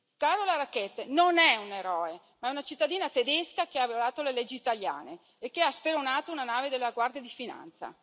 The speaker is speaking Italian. Carola Rackete non è un eroe, ma è una cittadina tedesca che ha violato le leggi italiane e che ha speronato una nave della Guardia di finanza.